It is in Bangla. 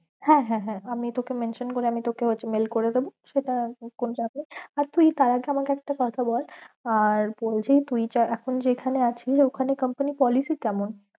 হ্যাঁ হ্যাঁ হ্যাঁ আমি তোকে mention করে আমি তোকে mail করেদেব, সেটা তখন যাবে আর তুই তার আগে আমাকে একটা কথা বল আর বলছি তুই এখন যেখানে আছিস ওখানে company policy কেমন?